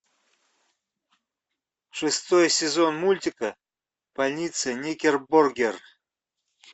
шестой сезон мультика больница никербокер